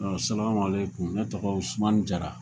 A salamalekum, ne tɔgɔ ye Usumani Jara